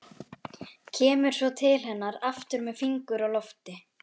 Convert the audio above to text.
Kemur svo til hennar aftur með fingur á lofti.